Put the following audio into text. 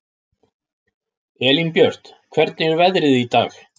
Elínbjört, hvernig er veðrið í dag?